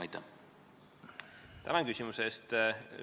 Tänan küsimuse eest!